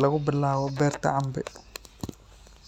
lagu bilaabo beerta cambe.